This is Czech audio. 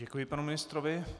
Děkuji panu ministrovi.